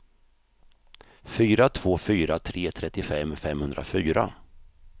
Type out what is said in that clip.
fyra två fyra tre trettiofem femhundrafyra